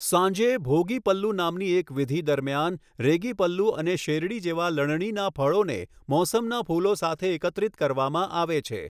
સાંજે, ભોગી પલ્લુ નામની એક વિધિ દરમિયાન, રેગી પલ્લુ અને શેરડી જેવા લણણીના ફળોને મોસમના ફૂલો સાથે એકત્રિત કરવામાં આવે છે.